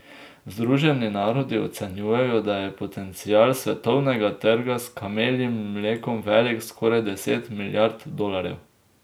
Združeni narodi ocenjujejo, da je potencial svetovnega trga s kameljim mlekom velik skoraj deset milijard dolarjev.